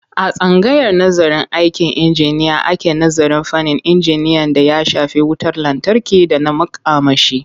A tsangayar nazarın aikin injiniya ake nazarin fannin injiniyan d aya shafi wutar lantarki da na makamashi.